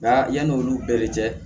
Nka yanni olu bɛɛ de cɛ